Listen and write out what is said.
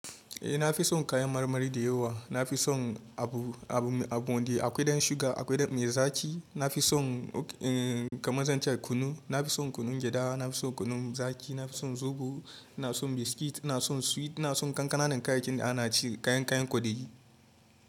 Eh na fi son kayan marmari da yawa. Na fi son abu, abu, abu wanda akwai don sugar, akwai don mai zaki. Na fi son kamar zan ce kunu, na fi son kunun gyaɗa, na fi son kunun zaki, na fi son zobo, ina son biskit, ina son sweet, ina son kankanann kayakin da ana ci, kayan kayan kwaɗayi.